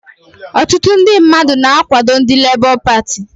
Ọtụtụ ndị mmadụ na-akwado ndị Lebọ Pati